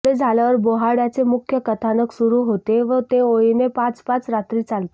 एवढे झाल्यावर बोहाड्याचे मुख्य कथानक सुरू होते व ते ओळीने पाच पाच रात्री चालते